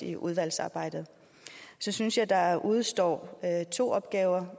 i udvalgsarbejdet så synes jeg der udestår to opgaver